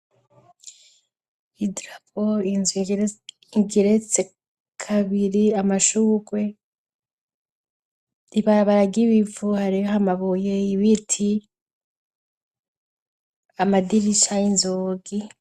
Idarapo, inzu igeretse kabiri, amashurwe, ibarabara ry'ibivu hariho amabuye, ibiti, amadirisha y'inzugi.